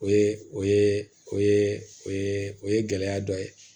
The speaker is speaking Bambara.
O ye o ye o ye o ye o ye gɛlɛya dɔ ye